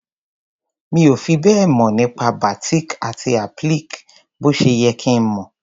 Mi ò fi bẹ́ẹ̀ mọ̀ nípa batik àti applique bó ṣe yẹ kí n mọ̀.